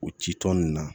O ci tɔn nin na